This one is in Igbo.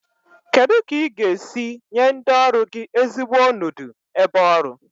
Kedu ka ị ga-esi nye ndị ọrụ gị ezigbo onodu ebe ọrụ?